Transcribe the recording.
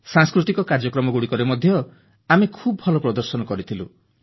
ସାଂସ୍କୃତିକ କାର୍ଯ୍ୟକ୍ରମରେ ମଧ୍ୟ ଆମେ ଖୁବ୍ ଭଲ ପ୍ରଦର୍ଶନ କରିଥିଲୁ